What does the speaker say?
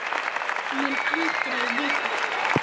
Mun aldrei vita.